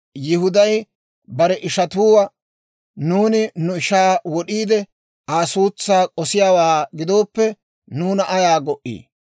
Yihuday bare ishatuwaa, «Nuuni nu ishaa wod'iide Aa suutsaa k'osiyaawaa gidooppe nuuna ayaa go"ii?